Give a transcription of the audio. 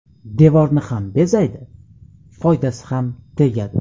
Devorni ham bezaydi, foydasi ham tegadi.